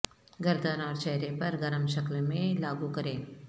گردن اور چہرے پر گرم شکل میں لاگو کریں